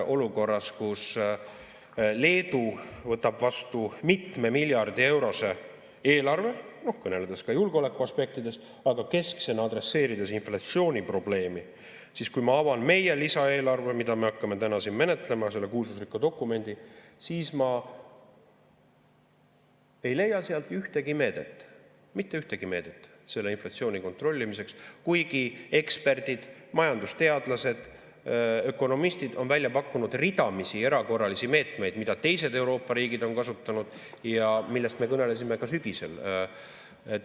Olukorras, kus Leedu võtab vastu mitme miljardi eurose eelarve, kõneledes ka julgeolekuaspektidest, aga kesksena adresseerides inflatsiooniprobleemi, siis kui ma avan meie lisaeelarve, mida me hakkame täna menetlema, selle kuulsusrikka dokumendi, siis ma ei leia sealt ühtegi meedet – mitte ühtegi meedet – selle inflatsiooni kontrollimiseks, kuigi eksperdid, majandusteadlased, ökonomistid on välja pakkunud ridamisi erakorralisi meetmeid, mida teised Euroopa riigid on kasutanud ja millest me kõnelesime ka sügisel.